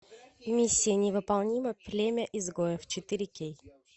миссия невыполнима племя изгоев четыре кей